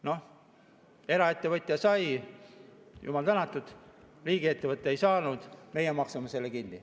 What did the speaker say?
Noh, eraettevõtja sai, jumal tänatud, riigiettevõte ei saanud, meie maksame selle kinni.